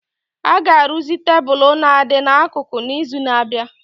A ga-arụzi tebụl na-adị n'akụkụ n'izu na-abịa